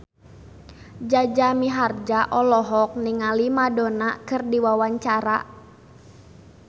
Jaja Mihardja olohok ningali Madonna keur diwawancara